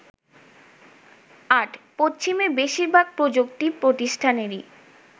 ৮. পশ্চিমে বেশিরভাগ প্রযুক্তি প্রতিষ্ঠানেরই